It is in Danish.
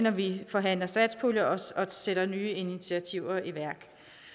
at vi forhandler satspulje og sætter nye initiativer i værk